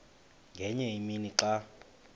ngenye imini xa